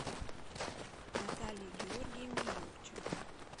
наталье георгиевне юрченко